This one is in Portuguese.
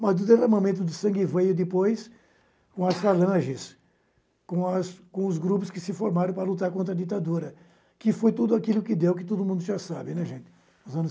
Mas o derramamento de sangue veio depois com as falanges, com as com os grupos que se formaram para lutar contra a ditadura, que foi tudo aquilo que deu, que todo mundo já sabe, né, gente?